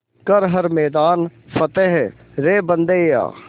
कर हर मैदान फ़तेह रे बंदेया